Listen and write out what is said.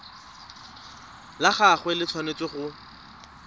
la gagwe le tshwanetse go